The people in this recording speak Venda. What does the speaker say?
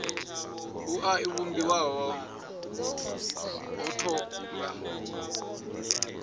wua i vhumbiwa ho thoma